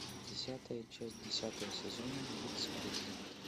десятая часть десятого сезона вице президент